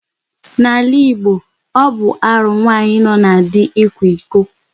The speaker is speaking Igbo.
N'ala Igbo, ọ bụ arụ nwaanyị nọ na di ịkwa iko.